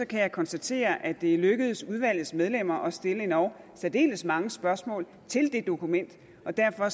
kan jeg konstatere at det er lykkedes udvalgets medlemmer at stille endog særdeles mange spørgsmål til det dokument og derfor